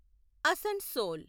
Asansol